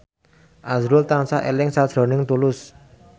azrul tansah eling sakjroning Tulus